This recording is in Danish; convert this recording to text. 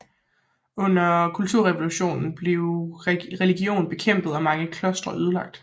Under kulturrevolutionen blev religion bekæmpet og mange klostre ødelagt